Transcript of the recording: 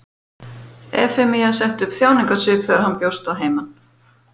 Efemía setti upp þjáningarsvip þegar hann bjóst að heiman.